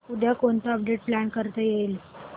उद्या कोणतं update plan करता येईल